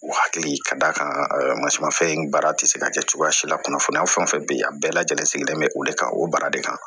U hakili ka d'a kan masina fɛn in baara tɛ se ka kɛ cogoya si la kunnafoniya fɛn fɛn bɛ yen a bɛɛ lajɛlen sigilen bɛ o de kan o baara de kan